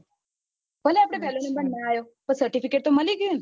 ભલે પેલો number ના આયો હોય પણ certificate તો મળી ગયું ને